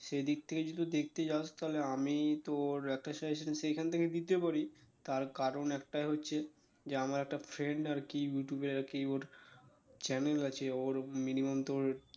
সেদিক থেকে যদি দেখতে চাস তালে আমি তোর একটা suggestion সেখান থেকে দিতে পারি তার কারণ একটাই হচ্ছে যে আমার একটা friend আরকি ইউটিউবে আরকি ওর channel আছে ওর minimum তোর